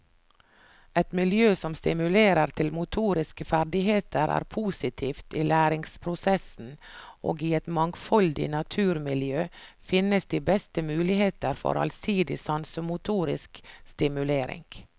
Et miljø som stimulerer til motoriske ferdigheter er positivt i læringsprosessen og i et mangfoldig naturmiljø finnes de beste muligheter for allsidig sansemotorisk stimulering.